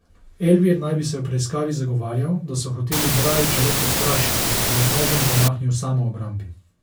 Elvir naj bi se v preiskavi zagovarjal, da so hoteli Brajiča le prestrašiti in da je z nožem zamahnil v samoobrambi.